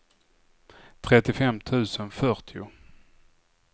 trettiofem tusen fyrtio